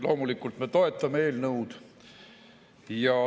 Loomulikult me toetame eelnõu.